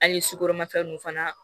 An ye sukoromafɛn nunu fana